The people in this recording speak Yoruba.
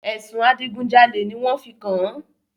Ẹ̀sùn adigun jalè ni wọn fi kàn-án